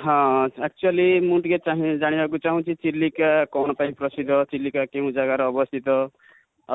ହଁ actually ମୁଁ ଟିକିଏ ଚାହେଁ ଜାଣିବାକୁ ଚାହୁଁଛି ଚିଲିକା କଣ ପାଇଁ ପ୍ରସିଦ୍ଧ ଚିଲିକା କେଉଁ ଜାଗା ରେ ଅବସ୍ଥିତ